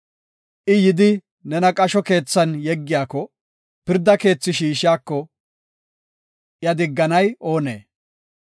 I yidi nena qasho keethan yeggiyako, pirda keethi shiishiko, iya digganay oonee?